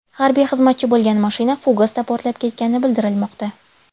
Harbiy xizmatchi bo‘lgan mashina fugasda portlab ketgani bildirilmoqda.